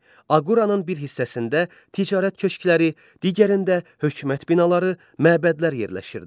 Aqoranın bir hissəsində ticarət köşkləri, digərində hökumət binaları, məbədlər yerləşirdi.